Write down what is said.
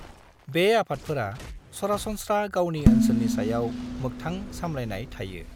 बे आफादफोरा सरासनस्रा गावनि ओनसोलनि सायाव मोक्थां सामलायनाय थायो।